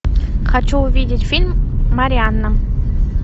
хочу увидеть фильм марианна